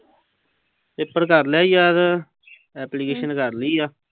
Paper ਕਰ ਲਿਆ ਈ ਯਾਦ। ਐਪਲੀਕੇਸ਼ਨ ਕਰ ਲਈ ਆ।